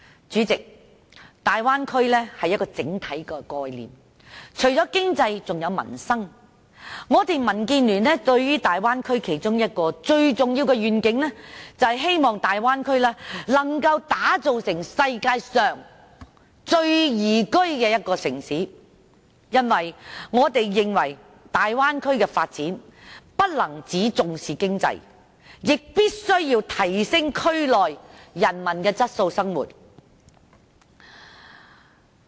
主席，大灣區是一個整體的概念，除了經濟還有民生，民建聯對大灣區其中一個最重要的願景，是希望能夠把大灣區打造成世界上最宜居的區域，因為我們認為大灣區的發展不能只重視經濟，亦必須提升區內人民的生活質素。